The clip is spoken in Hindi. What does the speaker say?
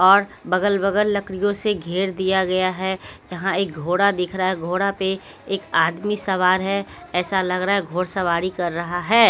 और बगल-बगल लकड़ियों से घेर दिया गया है यहाँ एक घोड़ा दिख रहा है घोड़ा पे एक आदमी सवार है ऐसा लग रहा है घोड़ सवारी कर रहा है।